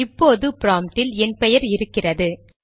இப்போது ப்ராம்ப்டில் என் பெயர் இருக்கிறது